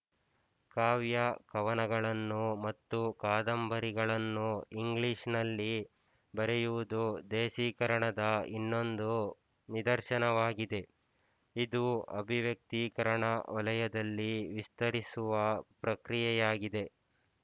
ಕಾವ್ಯ ಕವನಗಳನ್ನು ಮತ್ತು ಕಾದಂಬರಿಗಳನ್ನು ಇಂಗ್ಲಿಶ್ನಲ್ಲಿ ಬರೆಯುವುದು ದೇಸೀಕರಣದ ಇನ್ನೊಂದು ನಿದರ್ಶನವಾಗಿದೆ ಇದು ಅಭಿವ್ಯಕ್ತೀಕರಣ ವಲಯದಲ್ಲಿ ವಿಸ್ತರಿಸುವ ಪ್ರಕ್ರಿಯೆಯಾಗಿದೆ